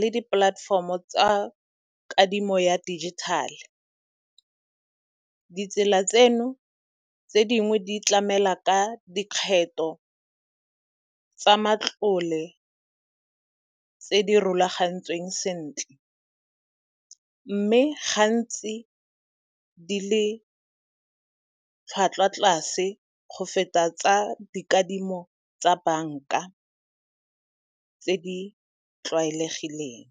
le di-platform-o tsa kadimo ya dijithale. Ditsela tseno tse dingwe di tlamela ka dikgetho tsa matlole tse di rulagantsweng sentle, mme gantsi di le tlhwatlhwa tlase go feta tsa dikadimo tsa banka tse di tlwaelegileng.